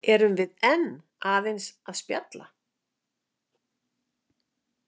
Erum við enn aðeins að spjalla?